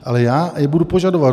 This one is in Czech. Ale já je budu požadovat.